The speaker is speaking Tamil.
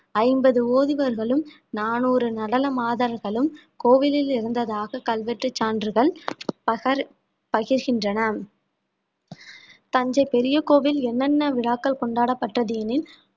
ஐம்பது ஓதுவர்களும் நானூறு நடன மாதர்களும் கோவிலில் இருந்ததாக கல்வெட்டுச் சான்றுகள் பகர்~ பகிர்கின்றன தஞ்சை பெரிய கோவில் என்னென்ன விழாக்கள் கொண்டாடப்பட்டது எனில்